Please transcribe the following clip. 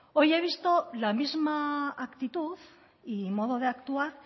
hoy he visto la misma actitud y modo de actuar